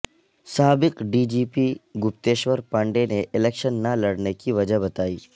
سابق D G P Gupteshwar پانڈےنے election نہ لڑنے کی وجہ بتائی